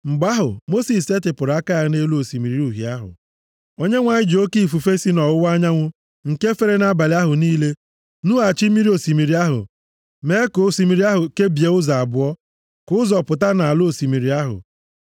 Mgbe ahụ, Mosis setịpụrụ aka ya nʼelu Osimiri Uhie ahụ. Onyenwe anyị ji oke ifufe si nʼọwụwa anyanwụ, nke fere nʼabalị ahụ niile, nughachi osimiri ahụ, mee ka osimiri ahụ kebie ụzọ abụọ, ka ụzọ pụta nʼala osimiri ahụ.